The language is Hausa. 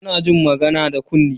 Muna jin magana da kunne.